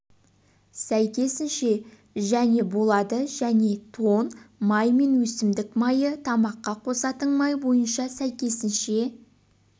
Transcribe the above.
сәйкесінше және болады және тоң май мен өсімдік майы тамаққа қосатын май бойынша сәйкесінше